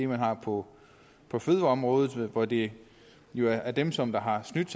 man har på på fødevareområdet hvor det jo er er dem som har snydt